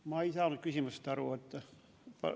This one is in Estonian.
Ma ei saanud küsimusest aru.